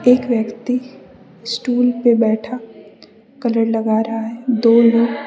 एक व्यक्ति स्टूल पे बैठा कलर लग रहा है। दो लोग --